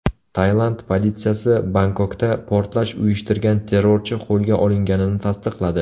Tailand politsiyasi Bangkokda portlash uyushtirgan terrorchi qo‘lga olinganini tasdiqladi.